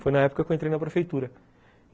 Foi na época que eu entrei na prefeitura.